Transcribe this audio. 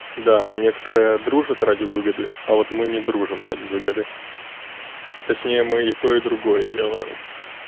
да некоторые дружат ради выгоды а вот мы не дружим ради выгоды точнее мы и то и другое делаем